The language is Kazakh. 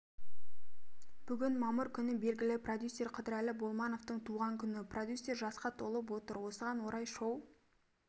бүгін мамыр күні белгілі продюсер қыдырәлі болмановтың туған күні продюссер жасқа толып отыр осыған орай шоу